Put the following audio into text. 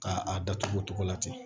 K'a datugu o togo la ten